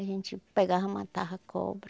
A gente pegava e matava a cobra.